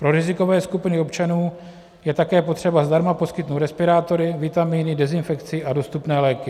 Pro rizikové skupiny občanů je také potřeba zdarma poskytnout respirátory, vitaminy, dezinfekci a dostupné léky.